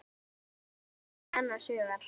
segir hann annars hugar.